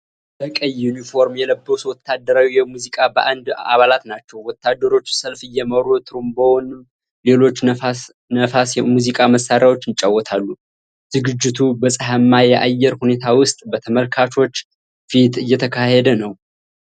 በቀይ ዩኒፎርም የለበሱ ወታደራዊ የሙዚቃ ባንድ አባላት ናቸው ። ወታደሮቹ ሰልፍ እየመሩ ትሮምቦንና ሌሎች ነፋስ የሙዚቃ መሳሪያዎችን ይጫወታሉ። ዝግጅቱ በፀሃይማ የአየር ሁኔታ ውስጥ በተመልካቾች ፊት እየተካሄደ ነው።